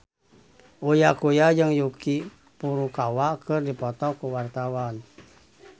Uya Kuya jeung Yuki Furukawa keur dipoto ku wartawan